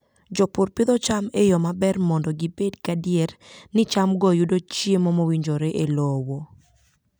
Jopur pidho cham e yo maber mondo gibed gadier ni chamgo yudo chiemo mowinjore e lowo.